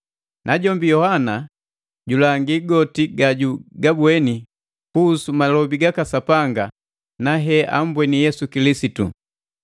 Najombi Yohana julongi goti gajugabweni kuhusu malobi gaka Sapanga na heambweni Yesu Kilisitu.